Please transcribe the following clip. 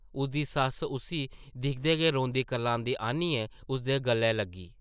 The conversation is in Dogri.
उदी सस्स उस्सी दिखदे गै रोंदी-करलांदी आनियै उसदे गलै लग्गी ।